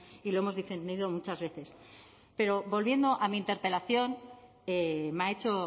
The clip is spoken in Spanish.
y lo hemos defendido muchas veces pero volviendo a mi interpelación me ha hecho